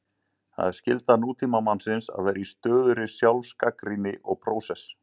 Það er skylda Nútímamannsins að vera í stöðugri sjálfsgagnrýni og prósess.